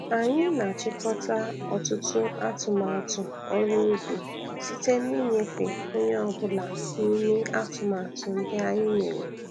Anyị na-achịkọta ọtụtụ atumatụ ọrụ ubi site n'inyefe onye ọbụla n'ime atụmatụ ndị anyị mere.